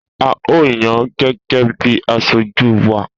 A o yan gẹ́gẹ́ bí asojú wa.